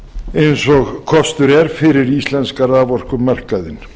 eins og kostur er fyrir íslenska raforkumarkaðinn